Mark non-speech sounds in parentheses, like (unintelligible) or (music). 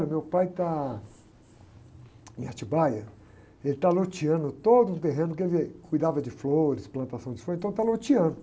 Olha, meu pai está em, (unintelligible) ele está loteando todo o terreno que ele cuidava de flores, plantação de flores, então está loteando.